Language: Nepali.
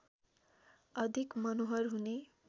अधिक मनोहर हुने